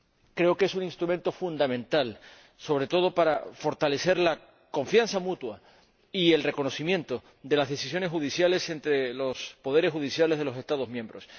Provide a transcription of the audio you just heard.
creo que es un instrumento fundamental, sobre todo para fortalecer la confianza mutua y el reconocimiento de las decisiones judiciales entre los poderes judiciales de los Estados miembros.